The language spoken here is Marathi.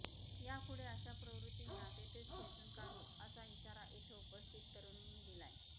यापुढे अशा प्रवृत्तींना तिथेच ठेचून काढू असा इशारा इथं उपस्थित तरुणींनी दिलीय